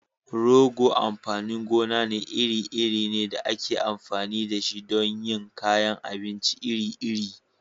Rogo amfanin gona iri-iri ne da ake amfani da shi don yin kayan abinci iri-iri.